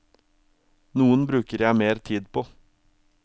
Noen bruker jeg mer tid på.